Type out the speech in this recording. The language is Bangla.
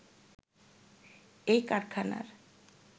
এই কারখানার